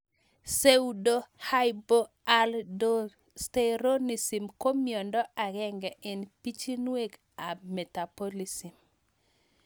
Psuedohypoaldosteronism ko miondo ag'eng'e eng' pichinwek ab metabolism